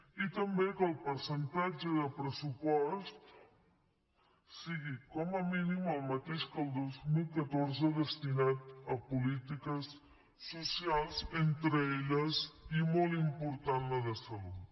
i també que el percentatge de pressupost sigui com a mínim el mateix que el dos mil catorze destinat a polítiques socials entre elles i molt important la de salut